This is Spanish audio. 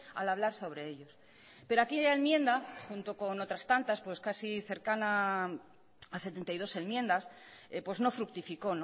al hablar sobre ellos pero aquella enmienda junto con otras tantas casi cercana a setenta y dos enmiendas no fructificó